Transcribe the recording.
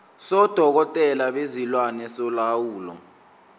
sodokotela bezilwane solawulo